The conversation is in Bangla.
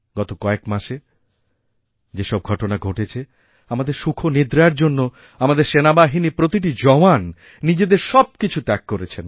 গত কয়েক মাসে যে সব ঘটনা ঘটেছে আমাদেরসুখনিদ্রার জন্য আমাদের সেনাবাহিনীর প্রতিটি জওয়ান নিজেদের সব কিছু ত্যাগ করেছেন